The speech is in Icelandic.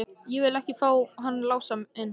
Ég vil ekki fá hann Lása inn.